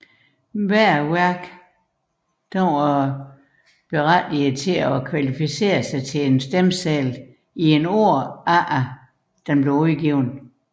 Hvert værk var berettiget til at kvalificere sig til stemmesedlen i et år efter dets udgivelsesdato